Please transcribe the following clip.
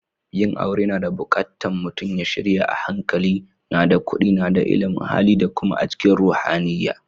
Yin aure na bukatta mutum ya shirya a hankali, na da kudi, na da illimin Hali da kuma a cikin ruhaniyya.